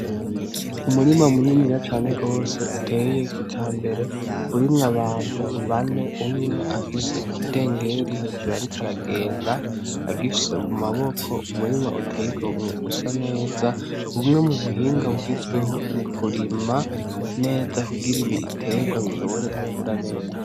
Umurima muniniya cane gwose uteye kijambere urimwo abantu bane umwe afise ikidengeri hejuru ariko aragenda agifise mumaboko; umurima uteye igomwe usaneza umwe mubuhinga bugezweho mukurima neza kugira ibitegwa bishobore gukura neza.